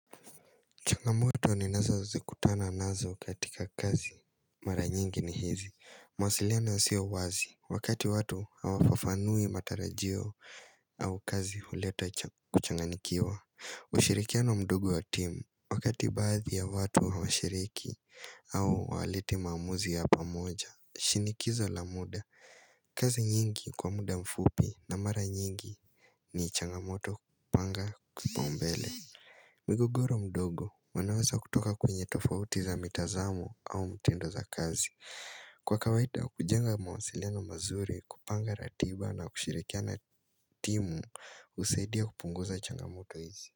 Changamoto ninazozikutana nazo katika kazi. Mara nyingi ni hizi. Mawasiliano yasiyo wazi. Wakati watu hawafafanui matarajio au kazi huleta kuchanganyikiwa. Ushirikiano mdogo wa timu. Wakati baadhi ya watu hawashiriki au hawaleti maamuzi ya pamoja. Shinikizo la muda. Kazi nyingi kwa muda mfupi na mara nyingi ni changamoto panga kipaumbele. Mgogoro mdogo wanaweza kutoka kwenye tofauti za mitazamo au mtindo za kazi Kwa kawaida kujenga mawasiliano mazuri kupanga ratiba na kushirikia na timu husaidia kupunguza changamoto hizi.